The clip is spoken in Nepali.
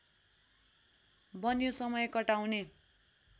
बन्यो समय कटाउने